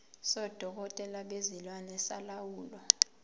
sodokotela bezilwane solawulo